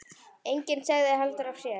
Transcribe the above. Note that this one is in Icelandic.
Enginn sagði heldur af sér.